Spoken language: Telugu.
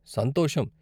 సంతోషం.